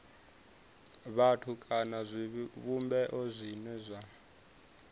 vhathu kana zwivhumbeo zwine zwa